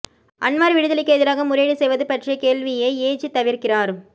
Anwar விடுதலைக்கு எதிராக முறையீடு செய்வது பற்றிய கேள்வியை ஏஜி தவிர்க்கிறார்